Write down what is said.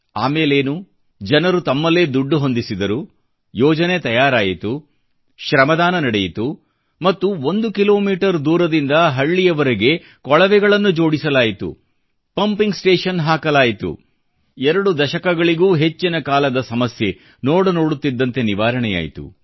ಆಮೇಲೇನು ಜನರು ತಮ್ಮಲ್ಲೇ ದುಡ್ಡು ಹೊಂದಿಸಿದರು ಯೋಜನೆ ತಯಾರಾಯಿತು ಶ್ರಮದಾನ ನಡೆಯಿತು ಮತ್ತು ಒಂದು ಕಿಲೋಮೀಟರ್ ದೂರದಿಂದ ಹಳ್ಳಿಯವರೆಗೆ ಕೊಳವೆಗಳನ್ನು ಅಳವಡಿಸಲಾಯಿತು ಪಂಪಿಂಗ್ ಸ್ಟೇಷನ್ ಹಾಕಲಾಯಿತು ಎರಡು ದಶಕಗಳಿಗೂ ಹೆಚ್ಚಿನ ಕಾಲದ ಸಮಸ್ಯೆ ನೋಡುನೋಡುತ್ತಿದ್ದಂತೆ ನಿವಾರಣೆಯಾಯಿತು